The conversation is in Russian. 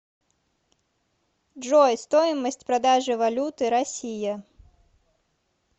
джой стоимость продажи валюты россия